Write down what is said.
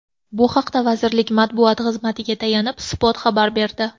Bu haqda vazirlik matbuot xizmatiga tayanib, Spot xabar berdi .